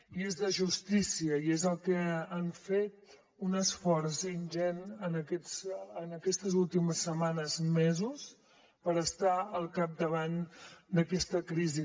i és de justícia i és el que han fet un esforç ingent en aquestes últimes setmanes mesos per estar al capdavant d’aquesta crisi